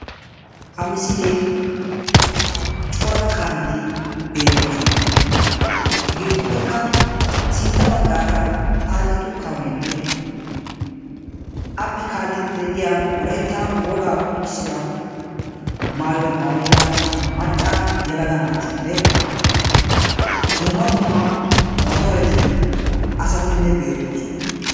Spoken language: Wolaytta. ha misilee cora kaameti beettoosona sintta baggara xaacetu kaamenne appe kaalidi de'iyaa wolaytta woga maayuwaa mayida macca yelaga naatinne dumma dumma motoreti asatinne bettoosona